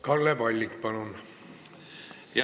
Kalle Palling, palun!